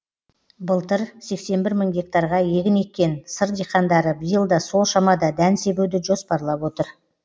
былтыр сексен бір мың гектарға егін еккен сыр диқандары биыл да сол шамада дән себуді жоспарлап отыр